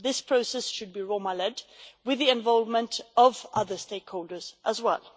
This process should be Roma led, with the involvement of other stakeholders as well.